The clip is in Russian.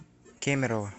кемерово